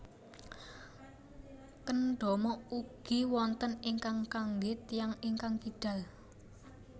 Kendama ugi wonten ingkang kanggé tiyang ingkang kidal